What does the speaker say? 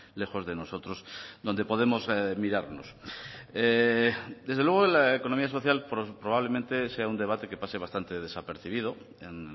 lejos de nosotros donde podemos mirarnos desde luego la economía social probablemente sea un debate que pase bastante desapercibido en